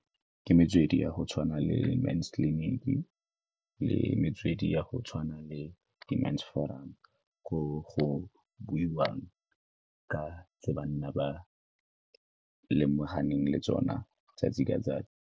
Ke metswedi ya go tshwana le mens clinic-e le metswedi ya go tshwana le di-mens forum ko go buiwang ka tse banna ba lemoganeng le tsona 'tsatsi ka 'tsatsi.